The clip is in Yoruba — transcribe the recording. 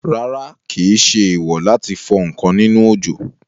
Rárá, kìí ṣe èèwò láti fọ ǹkan nínú òjò